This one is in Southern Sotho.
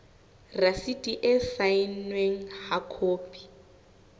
rasiti e saennweng ha khopi